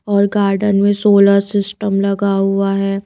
और गार्डन में solar system लगा हुआ है।